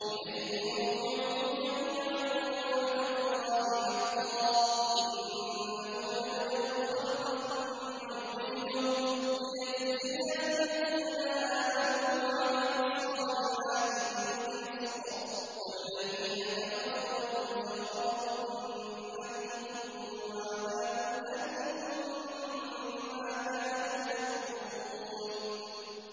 إِلَيْهِ مَرْجِعُكُمْ جَمِيعًا ۖ وَعْدَ اللَّهِ حَقًّا ۚ إِنَّهُ يَبْدَأُ الْخَلْقَ ثُمَّ يُعِيدُهُ لِيَجْزِيَ الَّذِينَ آمَنُوا وَعَمِلُوا الصَّالِحَاتِ بِالْقِسْطِ ۚ وَالَّذِينَ كَفَرُوا لَهُمْ شَرَابٌ مِّنْ حَمِيمٍ وَعَذَابٌ أَلِيمٌ بِمَا كَانُوا يَكْفُرُونَ